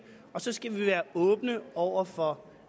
og så skal vi være åbne over for